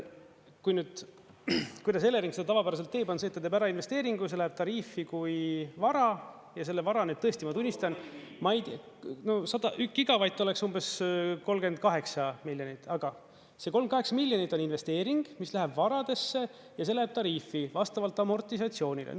Kui nüüd, kuidas Elering seda tavapäraselt teeb, on see, et ta teeb ära investeeringu, see läheb tariifi kui vara ja selle vara, nüüd tõesti ma tunnistan, no 100, gigavatt oleks umbes 38 miljonit, aga see 38 miljonit on investeering, mis läheb varadesse ja see läheb tariifi vastavalt amortisatsioonile.